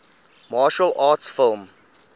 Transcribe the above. martial arts film